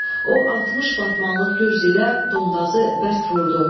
O 60 batmanlıq gürcü ilə Dondazı bərk vurdu.